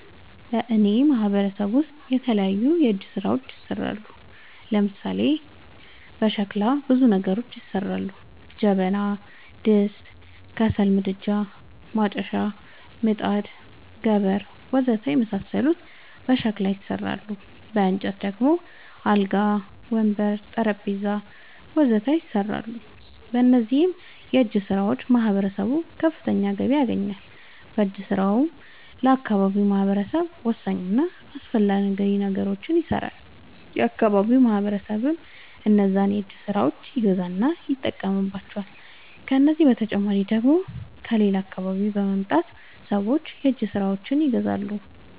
በእኔ ማህበረሰብ ውስጥ የተለያዩ የእጅ ስራዎች ይሠራሉ። ለምሳሌ፦ በሸክላ ብዙ ነገሮች ይሠራሉ። ጀበና፣ ድስት፣ ከሰል ምድጃ፣ ማጨሻ፣ ምጣድ፣ ገበር... ወዘተ የመሣሠሉት በሸክላ ይሠራሉ። በእንጨት ደግሞ አልጋ፣ ወንበር፣ ጠረንጴዛ..... ወዘተ ይሠራሉ። በእነዚህም የእጅስራዎች ማህበረሰቡ ከፍተኛ ገቢ ያገኛል። በእጅ ስራውም ለአካባቢው ማህበረሰብ ወሳኝ እና አስፈላጊ ነገሮች ይሠራሉ። የአካባቢው ማህበረሰብም እነዛን የእጅ ስራዎች ይገዛና ይጠቀምባቸዋል። ከዚህ በተጨማሪ ደግሞ ከሌላ አካባቢ በመምጣት ሠዎች የእጅ ስራዎቸችን ይገዛሉ።